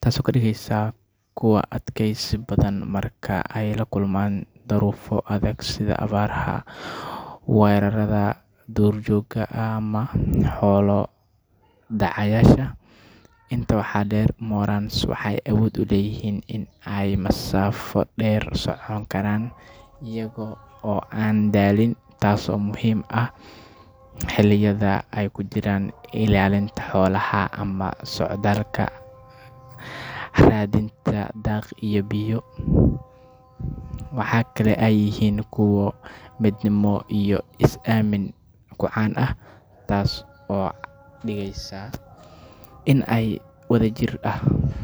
taasoo ka dhigaysa kuwo adkaysi badan marka ay la kulmaan duruufo adag sida abaaraha, weerarrada duurjoogta ama xoolo dhacayaasha. Intaa waxaa dheer, morans waxay awood u leeyihiin in ay masaafo dheer socon karaan iyaga oo aan daalin, taasoo muhiim u ah xilliyada ay ku jiraan ilaalinta xoolaha ama socdaalka raadinta daaq iyo biyo. Waxa kale oo ay yihiin kuwo midnimo iyo is-aamin ku caan ah, taas oo ka dhigaysa in ay si wadajir.